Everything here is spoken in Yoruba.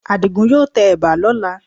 Àdìgún yóò tẹ ẹ̀bà lọ́la